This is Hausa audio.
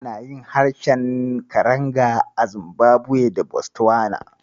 Ana yin harshen Karanga a Zimbabwe da Botswana.